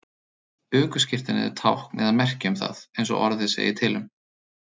Ökuskírteinið er tákn eða merki um það, eins og orðið segir til um.